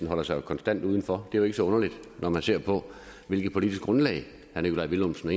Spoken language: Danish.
holder sig jo konstant udenfor det jo ikke så underligt når man ser på hvilket politisk grundlag herre nikolaj villumsen og